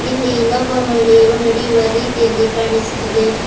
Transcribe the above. ಇಲ್ಲಿ ಇನ್ನೊಬ್ಬ ಮಹಿಳೆಯು ನಡೆಯುವ ರೀತಿಯಲ್ಲಿ ಕಾಣಿಸುತ್ತಿದೆ.